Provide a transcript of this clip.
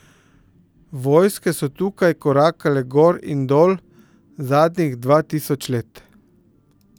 Vojske so tukaj korakale gor in dol zadnjih dva tisoč let.